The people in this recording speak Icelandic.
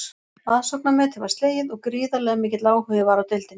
Aðsóknarmetið var slegið og gríðarlega mikill áhugi var á deildinni.